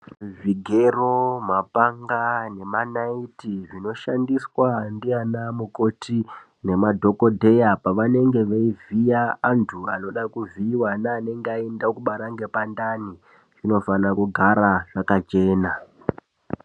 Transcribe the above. Zvigero mapanga nemanaiti zvinoshandiswa ndianamukoti nemadhokodheya pavanenge veivhiya antu anode kuvhiiwa neanenge eida mubara ngepandani zvinofanira kugara zvakachena.